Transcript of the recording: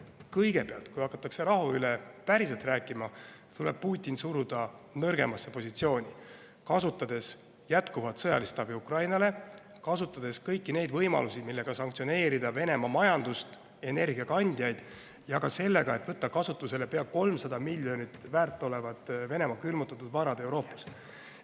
Kõigepealt, kui hakatakse rahu üle päriselt rääkima, tuleb Putin suruda nõrgemasse positsiooni, kasutades jätkuvat sõjalist abi Ukrainale, kasutades kõiki võimalusi, millega sanktsioneerida Venemaa majandust, energiakandjaid, ja ka sellega, et võtta kasutusele pea 300 miljonit väärt olevad Venemaa külmutatud varad Euroopas.